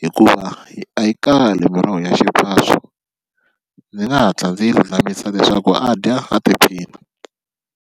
hikuva yi a yi kale miroho ya xiphawo ndzi nga hatla ndzi lulamisa leswaku a dya a tiphini.